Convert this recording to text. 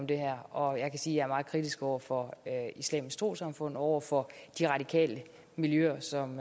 det her og jeg kan sige er meget kritisk over for islamisk trossamfund over for de radikale miljøer som